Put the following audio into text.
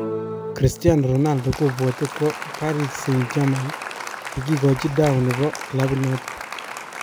Cristiano Ronaldo kobwote kwo Paris Saint Germain yekigochi dau nebo kilabit noton.